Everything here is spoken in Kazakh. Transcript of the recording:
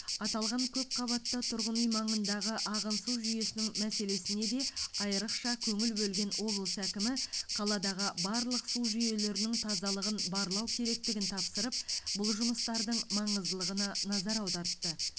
аталған көпқабатты тұрғын үй маңындағы ағын су жүйесінің мәселесіне де айрықша көңіл бөлген облыс әкімі қаладағы барлық су жүйелерінің тазалығын барлау керектігін тапсырып бұл жұмыстардың маңыздылығына назар аудартты